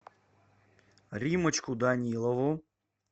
риммочку данилову